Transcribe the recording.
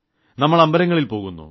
നമ്മൾ അമ്പലങ്ങളിൽ പോകുന്നു